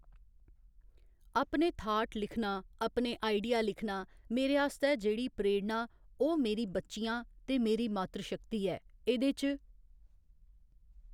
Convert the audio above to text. अपने थाट लिखना अपने आइडिया लिखना मेरे आस्तै जेह्ड़ी प्रेरणा ओह् मेरी बच्चियां ते मेरी मातृ शक्ति ऐ एह्दे च